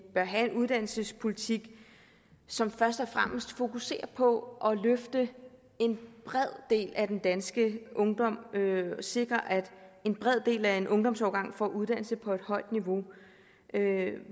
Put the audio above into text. bør have en uddannelsespolitik som først og fremmest fokuserer på at løfte en bred del af den danske ungdom og sikre at en bred del af en ungdomsårgang får uddannelse på et højt niveau